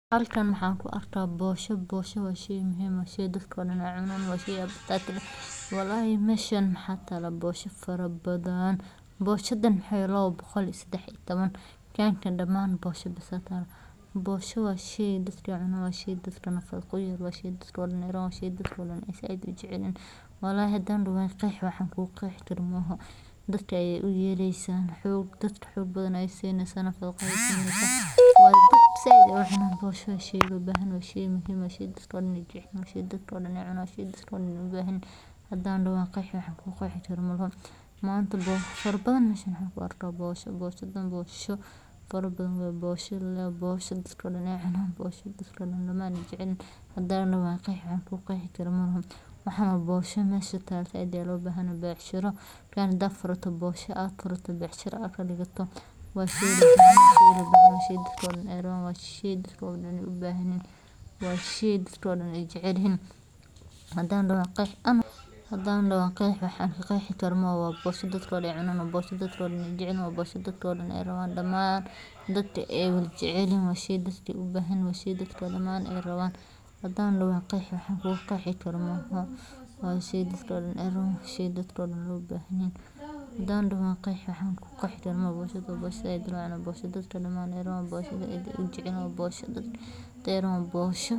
Burka galleyda waa badeecad cunto oo muhiim ah oo laga sameeyo galleyda la qalajiyey kadibna la shiiday si fiican, taasoo si weyn loogu isticmaalo nolol maalmeedka bulshada daalka iyo guud ahaan qaaradda Afrika, maadaama uu yahay mid la heli karo si fudud, jaban, isla markaana nafaqo leh, waxaana laga sameeyaa cuntooyin kala duwan sida canjeero, muufo, suqaar la socda, iyo kuwo kale oo badan, wuxuuna leeyahay dhadhan gaar ah oo dadka ka dhigo inay si joogto ah u isticmaalaan, waxaana kale oo uu leeyahay faa’iidooyin badan oo caafimaad sida in uu yahay isha ugu weyn ee tamarta marka la cunayo, sidoo kale wuxuu xoojiyaa xanuun la'aanta caloosha.